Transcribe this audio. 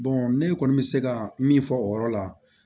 ne kɔni bɛ se ka min fɔ o yɔrɔ la